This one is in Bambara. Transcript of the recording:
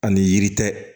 Ani yiri tɛ